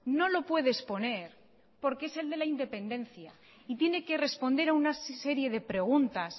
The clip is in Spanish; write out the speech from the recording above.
no lo puede exponer porque es el de la independencia y tiene que responder a una serie de preguntas